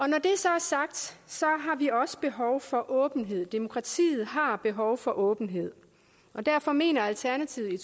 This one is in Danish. når det så er sagt har vi også behov for åbenhed demokratiet har behov for åbenhed og derfor mener alternativet i